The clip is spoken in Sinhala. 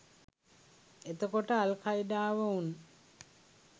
එතකොට අල් කයිඩාව උන්